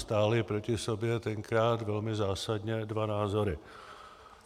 Stáli proti sobě tenkrát, velmi zásadně, dva názory.